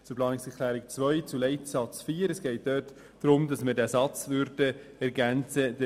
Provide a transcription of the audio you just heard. Zu Planungserklärung 2, Leitsatz 4: Es geht darum, dass der folgende Satz ergänzt wird: